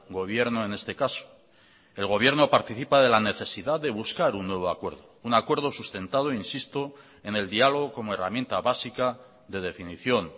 gobierno en este caso el gobierno participa de la necesidad de buscar un nuevo acuerdo un acuerdo sustentado insisto en el diálogo como herramienta básica de definición